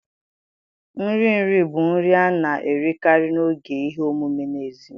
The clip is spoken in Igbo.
Nri nri bụ nri a na-erikarị n'oge ihe omume n'èzí